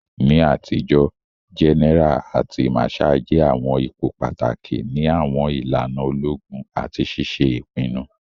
Ni atijo, gẹ́nẹ́ra àti màsháà jẹ àwọn ipò pàtàkì ni àwọn ìlànà ológun àti ṣiṣe ìpinnu.